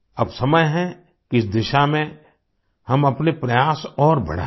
अब समय है कि इस दिशा में हम अपने प्रयास और बढाएं